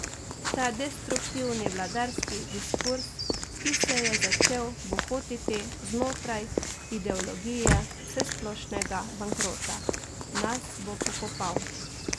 Ta destruktivni vladarski diskurz, ki se je začel bohotiti znotraj ideologije vsesplošnega bankrota, nas bo pokopal.